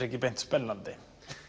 ekki beint spennandi